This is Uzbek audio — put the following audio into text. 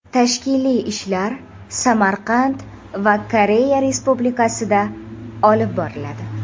Tashkiliy ishlar Samarqand va Koreya Respublikasida olib boriladi.